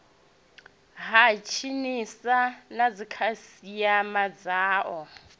ha tsinisa na dzikhasiama dzao